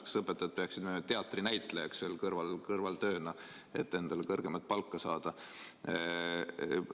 Kas õpetajad peaksid kõrvaltööna minema teatrinäitlejaks, et endale kõrgemat palka saada?